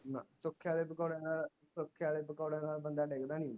ਨਾ ਵਾਲੇ ਪਕੌੜੇ ਨਾਲ ਵਾਲੇ ਪਕੌੜੇ ਨਾਲ ਬੰਦਾ ਡਿਗਦਾ ਨੀ ਹੁੰਦਾ